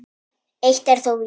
Eitt er þó víst.